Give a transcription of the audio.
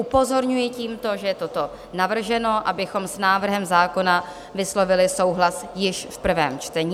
Upozorňuji tímto, že je toto navrženo, abychom s návrhem zákona vyslovili souhlas již v prvém čtení.